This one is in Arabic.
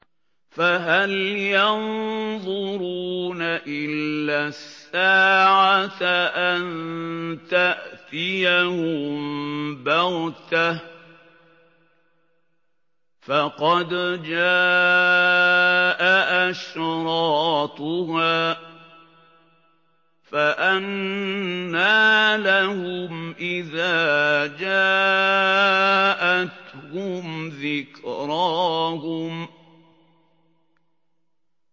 فَهَلْ يَنظُرُونَ إِلَّا السَّاعَةَ أَن تَأْتِيَهُم بَغْتَةً ۖ فَقَدْ جَاءَ أَشْرَاطُهَا ۚ فَأَنَّىٰ لَهُمْ إِذَا جَاءَتْهُمْ ذِكْرَاهُمْ